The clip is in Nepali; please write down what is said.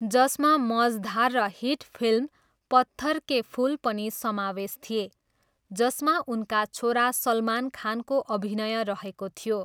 जसमा मजधार र हिट फिल्म पत्थर के फुल पनि समावेश थिए, जसमा उनका छोरा सलमान खानको अभिनय रहेको थियो।